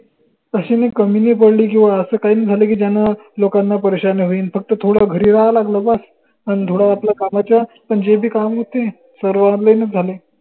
कशी काय कमी नाई पडली किंव्हा असं काय नाई झालं की, ज्यानं लोकांना परेशान्या होईन फक्त थोडं घरी राहावं लागलं बस अन थोडं आपल्या कामाच्या पन जे बी काम होते सर्व online च झाले.